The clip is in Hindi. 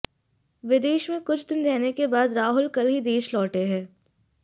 विदेश में कुछ दिन रहने के बाद राहुल कल ही देश लौटे हैं